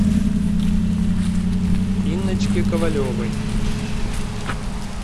инночке ковалевой